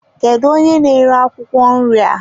Kedụ onye na-ere akwụkwọ nri a?